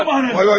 Vay vay vay!